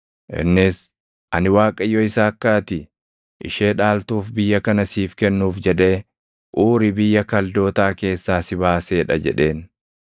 Innis, “Ani Waaqayyo isa akka ati ishee dhaaltuuf biyya kana siif kennuuf jedhee Uuri biyya Kaldootaa keessaa si baasee dha” jedheen.